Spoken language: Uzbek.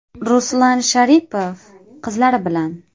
Ruslan Sharipov qizlari bilan.